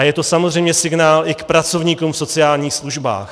A je to samozřejmě signál i k pracovníkům v sociálních službách.